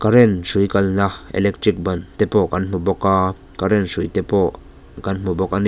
current hrui kalna electric ban te pawh kan hmu bawk a current hrui te pawh kan hmu bawk a ni.